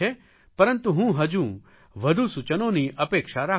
પરંતુ હું હજુ વધુ સૂચનોની અપેક્ષા રાખું છું